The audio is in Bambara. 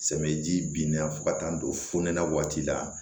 Samiyaji bin na fo ka taa don fo na waati la